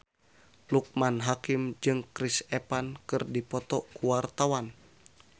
Loekman Hakim jeung Chris Evans keur dipoto ku wartawan